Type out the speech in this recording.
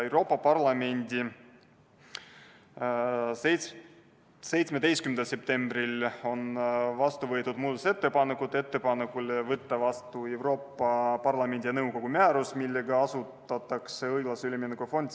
Euroopa Parlamendis kiideti 17. septembril heaks muudatusettepanek võtta vastu Euroopa Parlamendi ja nõukogu määrus, millega asutatakse õiglase ülemineku fond.